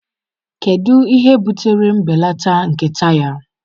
Kedu ihe butere mbelata nke taya?